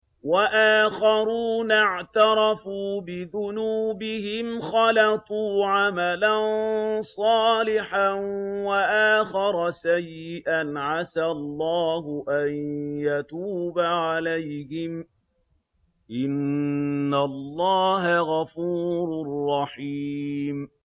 وَآخَرُونَ اعْتَرَفُوا بِذُنُوبِهِمْ خَلَطُوا عَمَلًا صَالِحًا وَآخَرَ سَيِّئًا عَسَى اللَّهُ أَن يَتُوبَ عَلَيْهِمْ ۚ إِنَّ اللَّهَ غَفُورٌ رَّحِيمٌ